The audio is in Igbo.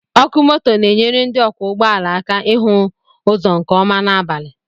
Ọkụ moto na-enyere ndị ọkwọ ụgbọala aka ịhụ ụzọ nke ọma n'abalị